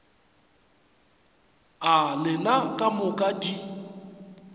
a lena ka moka di